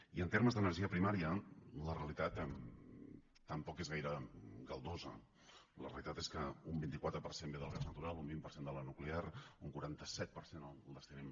i en termes d’energia primària la realitat tampoc és gaire galdosa la realitat és que un vint quatre per cent ve del gas natural un vint per cent de la nuclear un quaranta set per cent el destinem